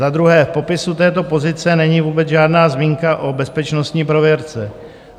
Za druhé, v popisu této pozice není vůbec žádná zmínka o bezpečnostní prověrce.